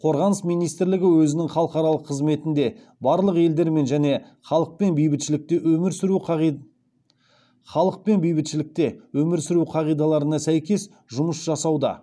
қорғаныс министрлігі өзінің халықаралық қызметінде барлық елдермен және халықпен бейбітшілікте өмір сүру қағидаларына сәйкес жұмыс жасауда